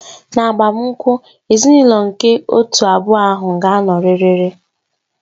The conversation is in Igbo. N'agbamakwụkwọ, ezinaụlọ nke otu abụọ ahụ ga-anọrịrị